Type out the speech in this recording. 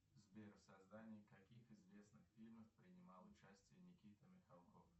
сбер в создании каких известных фильмов принимал участие никита михалков